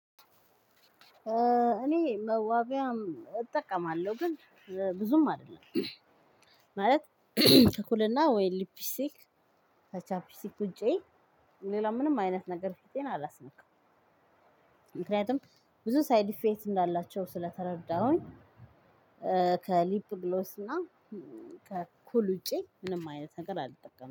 እኔ መዋቢያም እጠቀማለሁ። ግን ብዙም አይደለም። ማለት ኩልና ወይ ሊፒስቲክ ከቻፒስቲክ ውጪ ሌላ ምንም አይነት ነገር ፊቴን አላስነካም። ምክኒያቱም ብዙ ሳይድ እፈክት እንዳላቸው ስለተረዳሁ። ከሊፕ ብሎስና ከኩል ውጪ ምንም አይነት ነገር አልጠቀምም።